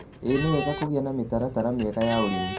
ĩĩ nĩwega kũgĩa na mitaratara mĩega ya ũrĩmi